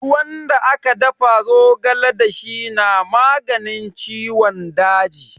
Ruwan da aka dafa zogale da shi na maganin ciwon daji.